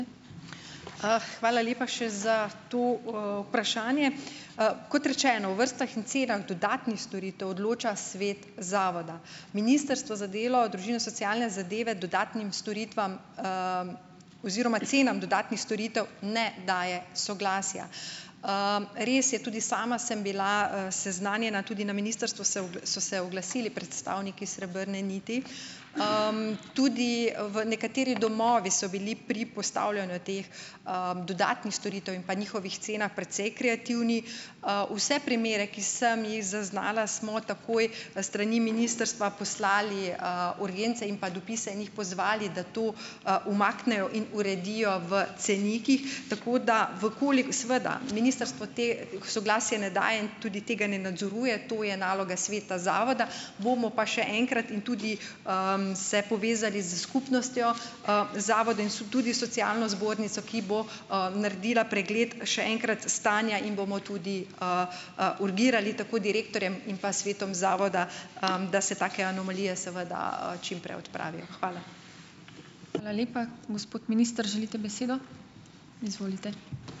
Hvala lepa še za to, vprašanje! Kot rečeno, v vrstah in cenah dodatnih storitev odloča svet zavoda. Ministrstvo za delo, družino, socialne zadeve dodatnim storitvam, oziroma cenam dodatnih storitev ne daje soglasja. Res je, tudi sama sem bila, seznanjena, tudi na ministrstvu so se oglasili predstavniki Srebrne niti, tudi v nekateri domovi so bili pri postavljanju teh, dodatnih storitev in pa njihovih cenah precej kreativni. vse primere, ki sem jih zaznala, smo takoj s strani ministrstva poslali, urgence in pa dopise in jih pozvali, da to, umaknejo in uredijo v cenikih. Tako da, v seveda, ministrstvo to soglasje ne daje in tudi tega ne nadzoruje. To je naloga sveta zavoda, bomo pa še enkrat in tudi, se povezali s skupnostjo, zavoda in tudi socialno zbornico, ki bo, naredila pregled, še enkrat, stanja in bomo tudi, urgirali tako direktorjem in pa svetom zavoda, da se take anomalije seveda, čim prej odpravijo. Hvala.